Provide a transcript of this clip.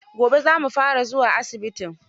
Gobe za mu fara zuwa asibitin